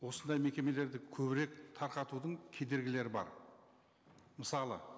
осындай мекемелерді көбірек тарқатудың кедергілері бар мысалы